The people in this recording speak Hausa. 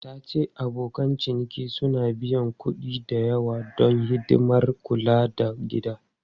Ta ce abokan ciniki suna biyan kuɗi da yawa don hidimar kula da gida.